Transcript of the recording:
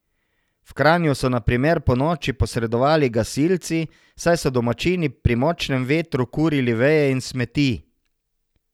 V Kranju so na primer ponoči posredovali gasilci, saj so domačini pri močnem vetru kurili veje in smeti.